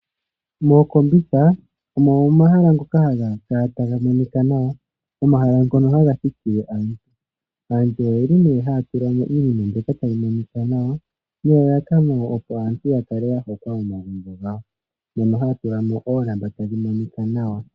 Ookombitha ogo omahala ngoka haga kala taga monika nawa, omahala ngono haga thikile aantu. Aantu oye li nee haya tula mo iinima mbyoka tayi monika nawa, nelalakano opo aantu ya kale ya hokwa momagumbo gawo, mono haya tula oongala tadhi monika nawa.